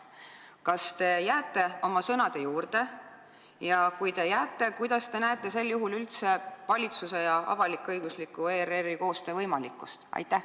Kas te jääte oma sõnade juurde ja kui te jääte, kuidas te näete sel juhul üldse valitsuse ja avalik-õigusliku ERR-i koostöö võimalikkust?